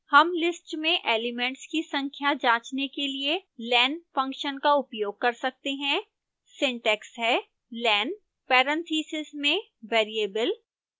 हम list में elements की संख्या जाँचने के लिए len फंक्शन का उपयोग कर सकते हैं